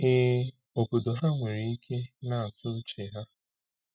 Ee, obodo ha nwere ike na-atụ uche ha.